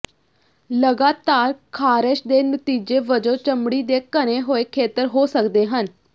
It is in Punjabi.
ਲਗਾਤਾਰ ਖਾਰਸ਼ ਦੇ ਨਤੀਜੇ ਵਜੋਂ ਚਮੜੀ ਦੇ ਘਨੇ ਹੋਏ ਖੇਤਰ ਹੋ ਸਕਦੇ ਹਨ